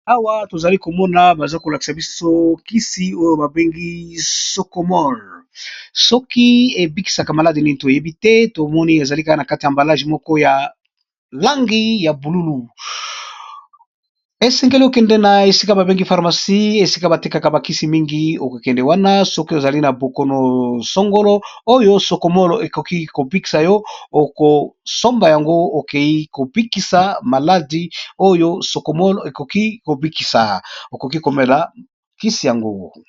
Awa tozali komona baza kolakisa bisokisi oyo babengi socomol soki ebikisaka maladi nini toyebi te tomoni ezali kana kati ya mbalage moko ya langi ya bululu esengeli okende na esika babengi pharmacie esika batekaka bakisi mingi okokende wana soki ozali na bokonosangolo oyo socomole ekoki kobikisa yo okosomba yango okei kobikisa maladi oyo socomol ekoki kobikisa okoki komela kisi yango.